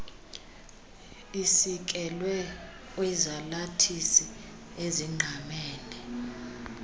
isikelwe kwizalathisi ezingqamene